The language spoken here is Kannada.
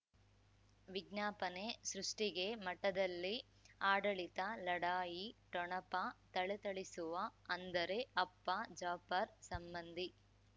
ವಿಜ್ಞಾಪನೆ ಸೃಷ್ಟಿಗೆ ಮಠದಲ್ಲಿ ಆಡಳಿತ ಲಢಾಯಿ ಠೊಣಪ ಥಳಥಳಿಸುವ ಅಂದರೆ ಅಪ್ಪ ಜಾಫರ್ ಸಂಬಂಧಿ